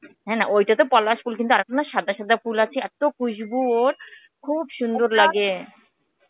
হ্যাঁ না, ঐটাতো পলাশ ফুল কিন্তু আরেকটা না সাদা সাদা ফুল আছে, এত্তো Hindi ওর, খুব সুন্দর লাগে .